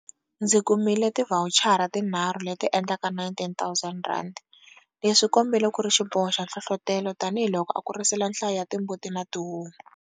Ndzi kumile tivhawuchara tinharhu leti endlaka R19 000. Leswi swi tikombile ku ri xiboho xa nhlohlotelo, tanihiloko a kurisile nhlayo ya timbuti na tihomu.